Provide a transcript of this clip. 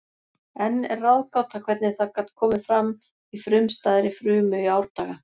Enn er ráðgáta hvernig það gat komið fram í frumstæðri frumu í árdaga.